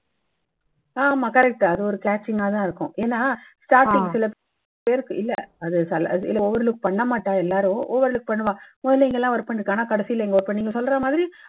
ஆமா correct. அது ஒரு catching கா தான் இருக்கும். ஏன்னா starting சில பேருக்கு இல்ல அது சில overlook பண்ண மாட்டாங்க எல்லாரும். overlook பண்ணினா குழந்தைங்கள்லாம் work பண்ணி இருக்காங்கண்ணா கடைசில நீங்க சொல்றா மாதிரி